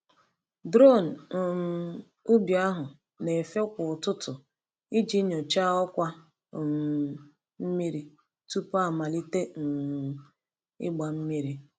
Drone um ubi ahụ na-efe kwa ụtụtụ iji nyochaa ọkwa um mmiri tupu amalite um ịgba mmiri.